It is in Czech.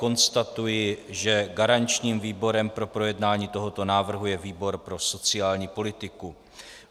Konstatuji, že garančním výborem pro projednání tohoto návrhu je výbor pro sociální politiku.